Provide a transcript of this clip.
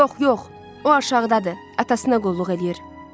Yox, yox, o aşağıdadır, atasına qulluq eləyir.